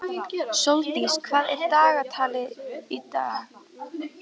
Sóldís, hvað er í dagatalinu í dag?